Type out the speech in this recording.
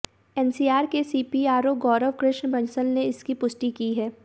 NCR के CPRO Gaurav Krishna Bansal ने इसकी पुष्टि की है